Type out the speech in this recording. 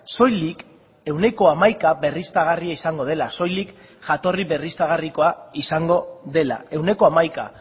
soilik ehuneko hamaika berriztagarria izango dela soilik jatorri berriztagarrikoa izango dela ehuneko hamaika